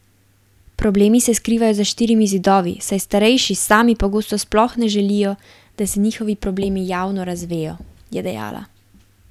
Problemi se skrivajo za štirimi zidovi, saj starejši sami pogosto sploh ne želijo, da se njihovi problemi javno razvejo, je dejala.